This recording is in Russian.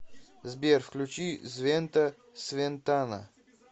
сбер включи звента свентана